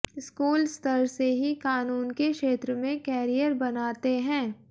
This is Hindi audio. स्कूल स्तर से ही कानून के क्षेत्र में कैरियर बनाते हैं